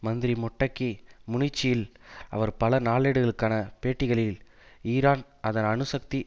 மந்திரி மொட்டக்கி முனிச்சில் அவர் பல நாளேட்டுகளுக்கான பேட்டிகளில் ஈரான் அதன் அணுசக்தி